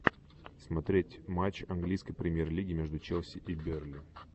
смотреть матч английской премьер лиги между челси и берли